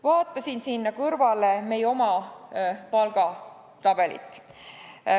Vaatasin siia kõrvale meie palgatabelit.